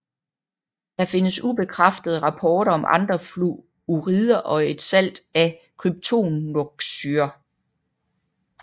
Der findes ubekræftede rapporter om andre fluorider og et salt af kryptonoxosyre